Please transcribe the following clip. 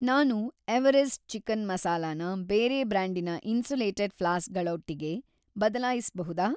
ನಾನು Everest chicken ಮಸಾಲಾನ ಬೇರೆ ಬ್ರ್ಯಾಂಡಿನ ಇನ್ಸುಲೇಟೆಡ್ ಫ್ಲಾಸ್ಕ್‌ಗಳ ಒಟ್ಟಿಗೆ ಬದಲಾಯಿಸ್ಬಹುದಾ?